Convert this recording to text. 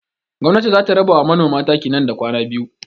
Gwamnatin za ta raba wa manoman taki nan da kwana biyu.